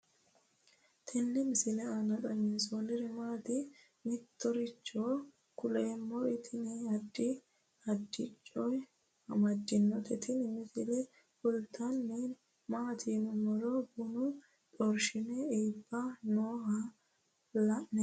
tini misile maa xawissannoro mito mittonkaricho kulummoro tini addi addicoy amaddinote tini misileno kultannori maati yiniro bunu xorshame ibbe nooha laoommo